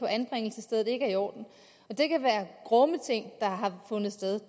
anbringelsessted ikke er i orden det kan være grumme ting der har fundet sted